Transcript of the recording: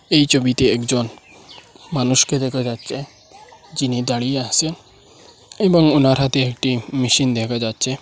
এই ছবিতে একজন মানুষকে দেখা যাচ্ছে যিনি দাঁড়িয়ে আছে এবং ওনার হাতে একটি মেশিন দেখা যাচ্ছে।